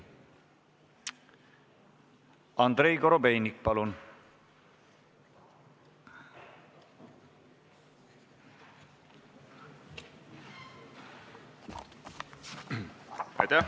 Andrei Korobeinik, palun!